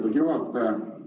Lugupeetud juhataja!